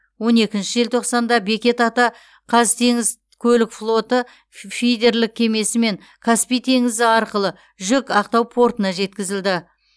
он екінші желтоқсанда бекет ата қазтеңізкөлікфлоты фидерлік кемесімен каспий теңізі арқылы жүк ақтау портына жеткізілді